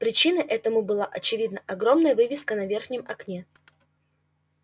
причиной этому была очевидно огромная вывеска на верхнем окне